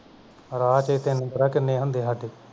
ਰਾਤ ਤੈਨੂੰ ਪਤਾ ਕਿੰਨੇ ਹੁੰਦੇ ਸਾਡੇ